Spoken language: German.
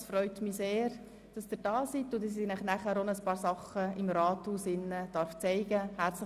Es freut mich sehr, dass Sie hier sind und dass ich Ihnen anschliessend auch noch einiges im Rathaus werde zeigen dürfen.